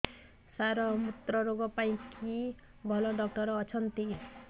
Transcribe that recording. ସାର ମୁତ୍ରରୋଗ ପାଇଁ କିଏ ଭଲ ଡକ୍ଟର ଅଛନ୍ତି